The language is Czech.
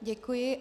Děkuji.